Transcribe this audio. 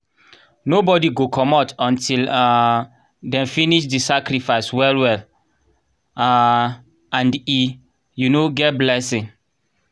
nobody go comot until um dem finish the sacrifice well well um and e um get blessing.